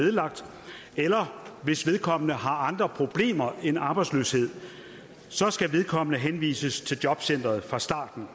nedlagt eller hvis vedkommende har andre problemer end arbejdsløshed så skal vedkommende henvises til jobcenteret fra starten